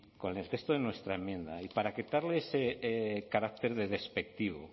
con el texto de nuestra enmienda y para quitarle ese carácter de despectivo